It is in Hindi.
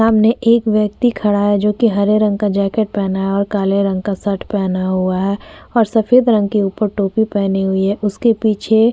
सामने एक व्यक्ति खड़ा है जोकि हरे रंग का जैकेट पहना है और काले रंग का शर्ट पहना हुआ है और सफेद रंग की ऊपर टोपी पहनी हुई है। उसके पीछे --